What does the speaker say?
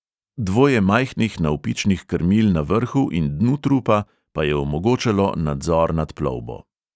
Dvoje majhnih navpičnih krmil na vrhu in dnu trupa pa je omogočalo nadzor nad plovbo.